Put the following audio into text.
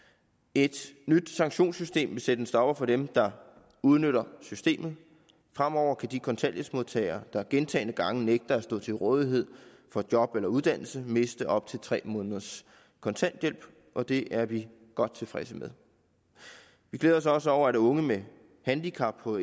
et nyt sanktionssystem vil sætte en stopper for dem der udnytter systemet fremover kan de kontanthjælpsmodtagere der gentagne gange nægter at stå til rådighed for job eller uddannelse miste op til tre måneders kontanthjælp og det er vi godt tilfredse med vi glæder os også over at unge med handicap på